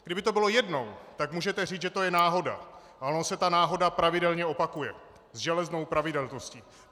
Kdyby to bylo jednou, tak můžete říct, že to je náhoda, ale ona se ta náhoda pravidelně opakuje s železnou pravidelností.